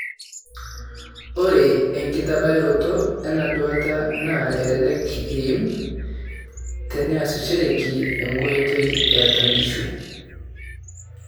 Ore enkitabayoroto ena duata na elelek eim teneasishoreki enkoitoi eatua nkishu.